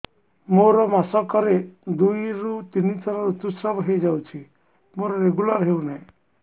ମୋର ମାସ କ ରେ ଦୁଇ ରୁ ତିନି ଥର ଋତୁଶ୍ରାବ ହେଇଯାଉଛି ମୋର ରେଗୁଲାର ହେଉନାହିଁ